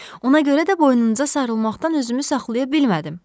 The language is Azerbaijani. Ona görə də boynunuza sarılmaqdan özümü saxlaya bilmədim.